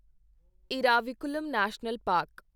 Eravikulam national park